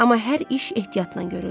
Amma hər iş ehtiyatla görüldü.